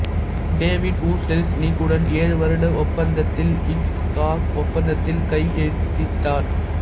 David O Selznick உடன் ஏழு வருட ஒப்பந்தத்தில் ஹிட்ச்காக் ஒப்பந்தத்தில் கையெழுத்திட்டார்